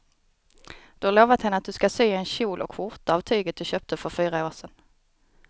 Du har lovat henne att du ska sy en kjol och skjorta av tyget du köpte för fyra år sedan.